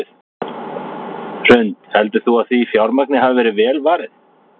Hrund: Heldur þú að því fjármagni hafi verið vel varið?